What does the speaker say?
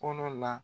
Kɔnɔ la